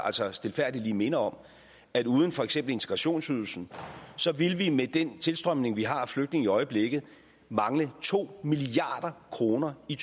stilfærdigt lige minde om at uden for eksempel integrationsydelsen ville vi med den tilstrømning vi har af flygtninge i øjeblikket mangle to milliard kroner i